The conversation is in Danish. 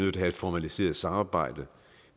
at have et formaliseret samarbejde